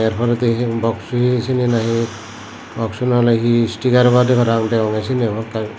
biredi he boxo he seyani na he boxo na he stikar obodey parang degongey seyani hamakai guri.